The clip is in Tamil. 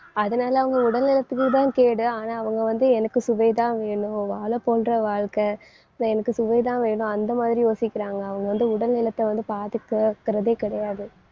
அதனால அவங்க உடல் நலத்துக்குதான் கேடு ஆனா அவங்க எனக்கு சுவைதான் வேணும் வாழை போன்ற வாழ்க்கை நான் எனக்கு சுவைதான் வேணும் அந்த மாதிரி யோசிக்கிறாங்க அவங்க வந்து உடல் நலத்தை வந்து பாதுகாக்கறதே கிடையாது.